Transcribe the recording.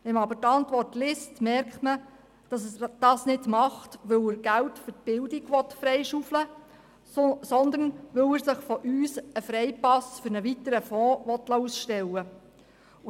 Wenn man aber die Antwort liest, merkt man, dass er dies nicht will, um Geld für die Bildung freizuschaufeln, sondern weil er sich von uns einen Freipass für einen weiteren Fonds ausstellen lassen will.